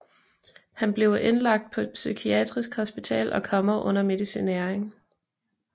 Han bliver indlagt på et psykiatrisk hospital og kommer under medicinering